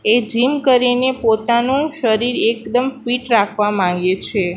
એ gym કરીને પોતાનું શરીર એકદમ ફિટ રાખવા માંગે છે.